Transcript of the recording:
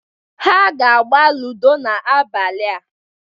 Ha ga-agba ludo n'abalịa